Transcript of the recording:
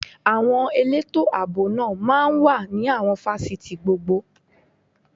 Àwọn elétò ààbò náà máa ń wà ní àwọn fásitì gbogbo